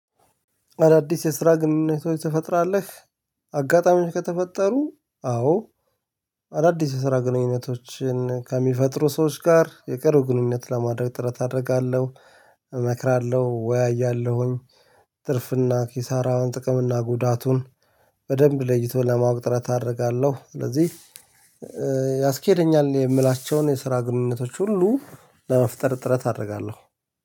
አዳዲስ የስራ ግንኙነቶች ትፈጥራለህ? አጋጣሚዎች ከተፈጠሩ አዎ አዳዲስ የስራ ግንኙነቶችን ከሚፈጥሩ ሰዎች ጋር የቅርብ ግንኙነት ለማድረግ ጥረት አደርጋለሁ። እመክራለሁ እወያያለሁ። ትርፍና ኪሳራዉን ጥቅም እና ጉዳቱን በደብ ለይቶ ለማዉጣት ጥረት አደርጋለሁ። ስለዚህ ያስኬደኛል የምላቸዉን የስራ ግንኙነቶች ሁሉ ለመፍጠር ጥረት አደርጋለሁ